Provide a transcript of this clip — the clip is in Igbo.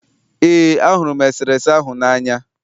ee, ahụrụ m eserese ahụ n'anya